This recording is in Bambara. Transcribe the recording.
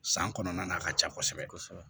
San kɔnɔna na a ka ca kosɛbɛ kosɛbɛ